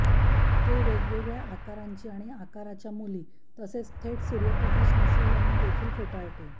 ते वेगवेगळ्या आकारांची आणि आकाराच्या मुली तसेच थेट सूर्यप्रकाश नसलेल्यांना देखील फेटाळते